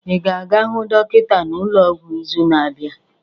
Ị ga-aga hụ dọkịta n'ụlọ ọgwụ n'izu na-abịa?